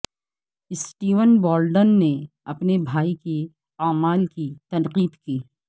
Steven Baldwin نے اپنے بھائی کے اعمال کی تنقید کی